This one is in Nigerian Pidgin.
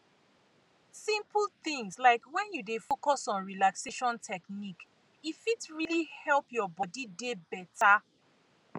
simple things like wen you dey focus on relaxation technique fit really help your body dey beta